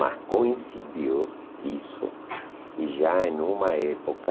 Mas coincidiu isso e já em uma época...